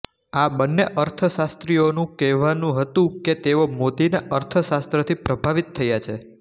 આ બંને અર્થશાસ્ત્રીઓનું કહેવું હતું કે તેઓ મોદીના અર્થશાસ્ત્રથી પ્રભાવિત થયા છે